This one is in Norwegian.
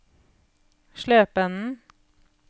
Slependen